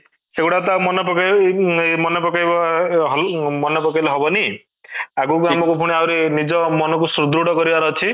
ସେଇଗୁଡ଼ା ତ ମନେ ପକେଇବୁ ଅଂ ମନେପକେଇଲେ ହବନି ଆଗକୁ ଆହୁରି ଆମ ନିଜ ମନ କୁ ସୁଦୃଢ କରିବାର ଅଛି